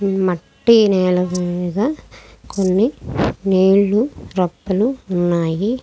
ఈ మట్టి నెల మీద కొన్ని నీళ్లు కప్పలు ఉన్నాయి.